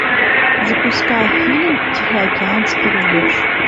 запускай фильм тихоокеанский рубеж